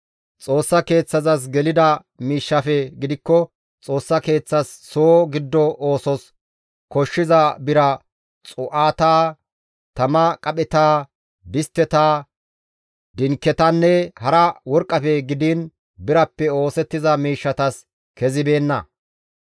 Xoossa Keeththazas gelida miishshafe gidikko Xoossa Keeththas soo giddo oosos koshshiza bira xuu7ata, tama qapheta, distteta, dinketanne hara worqqafe gidiin birappe oosettiza miishshatas kezibeenna.